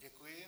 Děkuji.